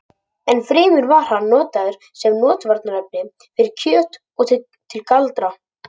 Enn fremur var hann notaður sem rotvarnarefni fyrir kjöt og til galdra.